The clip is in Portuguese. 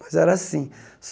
Mas era assim.